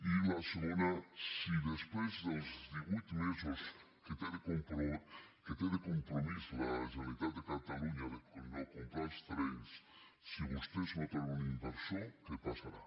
i la segona si després dels divuit me·sos que té de compromís la generalitat de catalunya de no comprar els terrenys si vostès no troben un in·versor què passarà